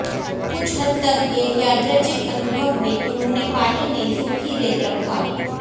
कुछ हद तक एक यादृच्छिक अनुभव में उन्होंने पानी में सूखी रेत रखा